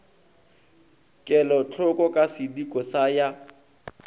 kelotlhoko ka sediko sa ya